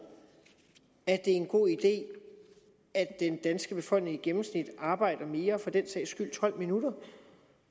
at det er en god idé at den danske befolkning i gennemsnit arbejder mere for den sags skyld tolv minutter